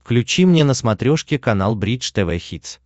включи мне на смотрешке канал бридж тв хитс